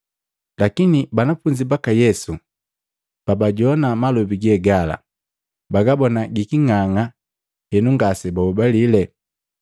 Lakini banafunzi baka Yesu, pabajoana malobi ge gala, bagabona giking'ang'a henu ngasebahobalile.